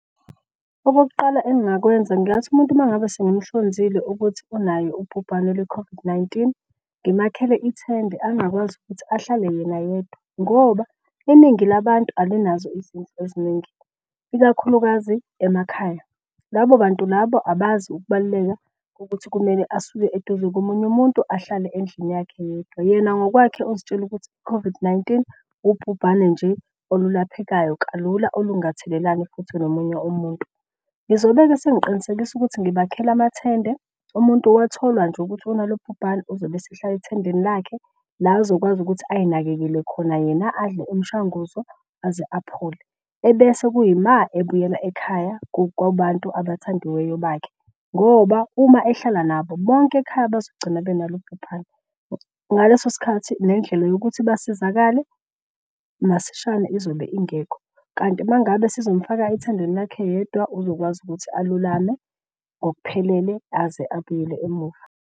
Okokuqala engakwenza ngingathi umuntu mangabe sengimuhlonzile ukuthi unaye ubhubhane lwe-COVID-19. Ngimakhele ithende angakwazi ukuthi ahlale yena yedwa ngoba iningi labantu alinazo izindlu eziningi, ikakhulukazi emakhaya. Labo bantu labo abazi ukubaluleka ukuthi kumele asuke eduze komunye umuntu ahlale endlini yakhe yedwa. Yena ngokwakhe uzitshela ukuthi i-COVID-19 ubhubhane nje olulaphekayo kalula olungathelelani futhi nomunye umuntu. Ngizobe-ke sengiqinisekisa ukuthi ngibakhela amathende. Umuntu watholwa nje ukuthi unalolu bhubhane uzobe esehlale ethendeni lakhe la azokwazi ukuthi ayinakekele khona yena, adle umshanguzo aze aphole. Ebese kuyima ebuyela ekhaya kubantu abathandiweyo bakhe ngoba uma ehlala nabo bonke ekhaya bazogcina benalo ubhubhane. Ngaleso sikhathi nendlela yokuthi basizakale masishane izobe ingekho kanti uma ngabe sizomfaka ethendeni lakhe yedwa uzokwazi ukuthi alulame ngokuphelele aze abuyele emuva.